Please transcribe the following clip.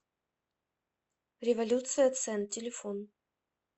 революция цен телефон